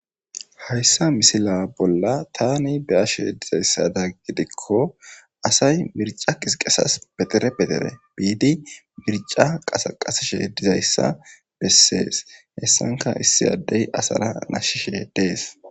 hayssa misila bolla tani be7ashe dizayssada gidikko asay mirca qisqesas be dere be dere biidi mirca qasa qasishe dizayssa bessees hessanka issi addey asara nashshishe dees